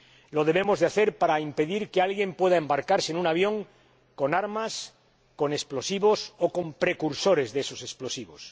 Lo debemos hacer para impedir que alguien pueda embarcarse en un avión con armas, con explosivos o con precursores de esos explosivos.